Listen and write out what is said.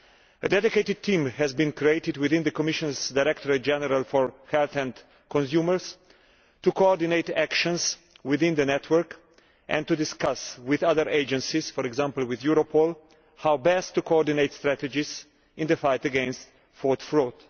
A dedicated team has been created within the Commissionʼs Directorate General for Health and Consumers to coordinate actions within the network and to discuss with other agencies for example, with Europol how best to coordinate strategies in the fight against food fraud.